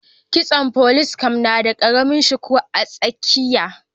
Kitson folice caf na da karamin shuku a tsakiya